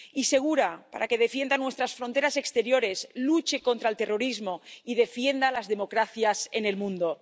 Y segura, para que defienda nuestras fronteras exteriores, luche contra el terrorismo y defienda las democracias en el mundo.